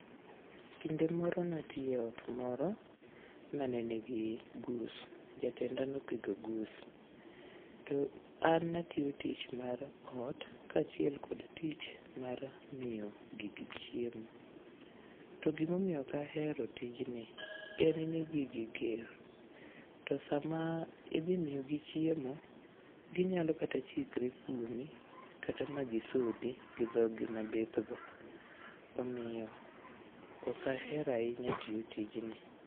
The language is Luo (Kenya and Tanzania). Kinde moro natiye ot moro manenigi gus, jatenda nopidho gus. An natiyo tich mar ot, kaachiel kod tich mar miyo gigi chiemo. To gimomiyo okahero tijni en ni gigi ger. To sama idhi miyigi chiemo, ginyalo kata chikre kuomi kata ma gisodhi gi dhog gi mabithgo. Omiyo okahero ahinya tiyo tijni.